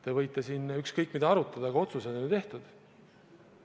Te võite siin ükskõik mida arutada, aga otsus on juba tehtud.